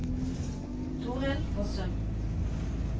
Toril Fossum